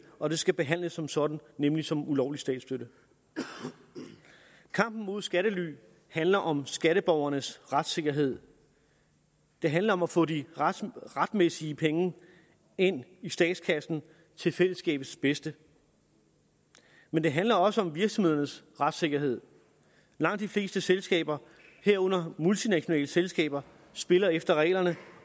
og det skal behandles som sådan nemlig som ulovlig statsstøtte kampen mod skattely handler om skatteborgernes retssikkerhed det handler om at få de retmæssige penge ind i statskassen til fællesskabets bedste men det handler også om virksomhedernes retssikkerhed langt de fleste selskaber herunder multinationale selskaber spiller efter reglerne